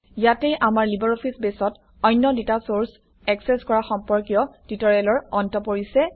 ইয়াতে আমাৰ লিবাৰঅফিছ বেছত অন্য ডাটা চৰ্চ একচেচ কৰা সম্পৰ্কীয় টিউটৰিয়েলৰ অন্ত পৰিছে